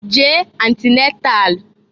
Jee antinatal!